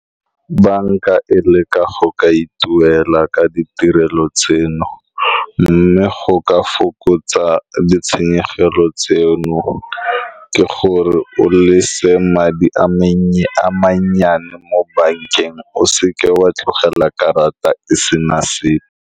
Banka e leka go ka ituela ka ditirelo tseno, mme go ka fokotsa ditshenyegelo tseno ke gore o le se madi a mannye a mannyane mo bankeng, o seka wa tlogela karata e se na sepe.